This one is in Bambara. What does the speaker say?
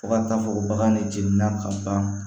Fo ka taa fɔ bagan ne jenina ka ban